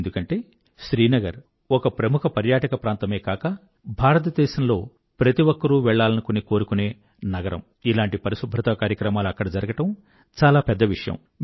ఎందుకంటే శ్రీనగర్ ఒక ప్రముఖ పర్యాటక ప్రాంతమే కాక భారతదేశంలో ప్రతి ఒక్కరూ వెళ్లాలని కోరుకునే నగరమైన శ్రీనగర్ లో ఇలాంటి పరిశుభ్రత కార్యక్రమాలు జరగడం చాలా పెద్ద విషయం